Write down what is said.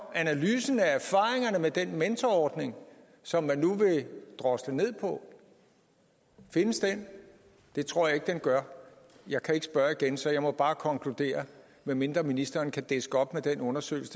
analysen af erfaringerne med den mentorordning som man nu vil drosle ned findes den det tror jeg ikke den gør jeg kan ikke spørge igen så jeg må bare konkludere medmindre ministeren kan diske op med den undersøgelse